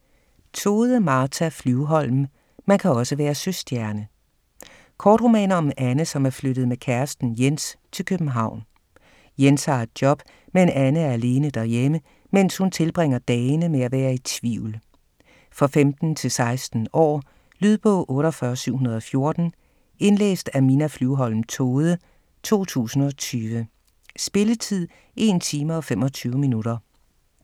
Tode, Martha Flyvholm: Man kan også være søstjerne Kortroman om Anne som er flyttet med kæresten Jens til København. Jens har et job, men Anne er alene derhjemme, mens hun tilbringer dagene med at være i tvivl. For 15-16 år. Lydbog 48714 Indlæst af Minna Flyvholm Tode, 2020. Spilletid: 1 time, 25 minutter.